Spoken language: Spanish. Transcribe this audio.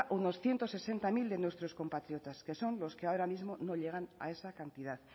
unos ciento sesenta mil de nuestros compatriotas que son los que ahora mismo no llegan a esa cantidad